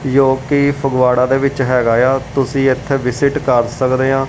ਜੋ ਕਿ ਫਗਵਾੜਾ ਦੇ ਵਿੱਚ ਹੈਗਾ ਏ ਆ ਤੁਸੀ ਇੱਥੇ ਵਿਸਿਟ ਕਰ ਸਕਦੇ ਆਂ।